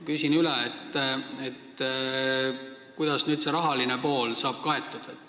Küsin üle, kuidas nüüd see rahaline pool saab kaetud.